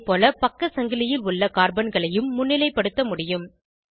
அதேபோல பக்க சங்கிலியில் உள்ள கார்பன்களையும் முன்னிலைப்படுத்த முடியும்